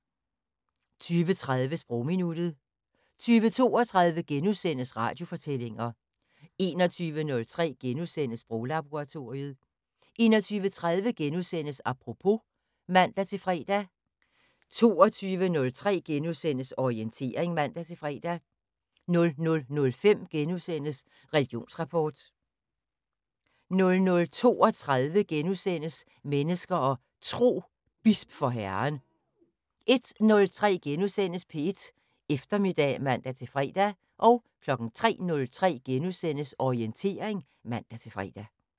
20:30: Sprogminuttet 20:32: Radiofortællinger * 21:03: Sproglaboratoriet * 21:30: Apropos *(man-fre) 22:03: Orientering *(man-fre) 00:05: Religionsrapport * 00:32: Mennesker og Tro: Bisp for Herren * 01:03: P1 Eftermiddag *(man-fre) 03:03: Orientering *(man-fre)